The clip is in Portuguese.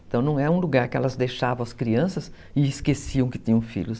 Então, não é um lugar que elas deixavam as crianças e esqueciam que tinham filhos.